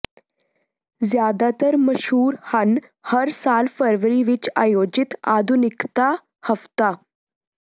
ਜ਼ਿਆਦਾਤਰ ਮਸ਼ਹੂਰ ਹਨ ਹਰ ਸਾਲ ਫਰਵਰੀ ਵਿਚ ਆਯੋਜਿਤ ਆਧੁਨਿਕਤਾ ਹਫ਼ਤਾ